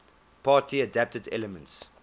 party adapted elements